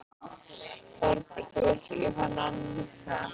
Þorbjörn: Þú vilt ekki fara nánar út í það?